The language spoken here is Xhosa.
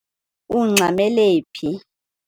Ungxamele phi?